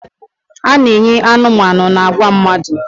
A na-enye anụmanụ na agwa mmadụ.